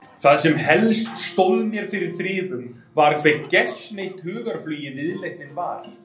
Það sem helst stóð mér fyrir þrifum var hve gersneydd hugarflugi viðleitnin var.